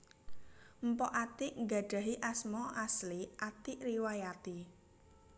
Mpok Atiek nggadhahi asma asli Atiek Riwayati